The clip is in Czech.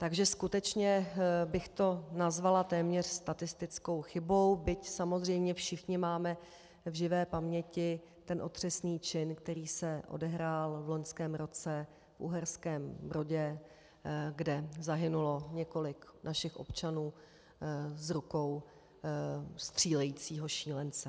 Takže skutečně bych to nazvala téměř statistickou chybou, byť samozřejmě všichni máme v živé paměti ten otřesný čin, který se odehrál v loňském roce v Uherském Brodě, kde zahynulo několik našich občanů z rukou střílejícího šílence.